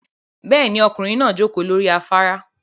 Bẹ́ẹ̀ni, ọkùnrin náà jókòó lórí afárá